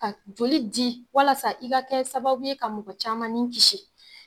Ka joli di walasa i ka kɛ sababu ye ka mɔgɔ caman ni kisi.